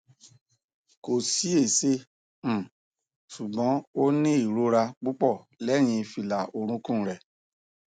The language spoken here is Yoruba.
ko si ese um sugbon oni irora pupo lehin fila orukun re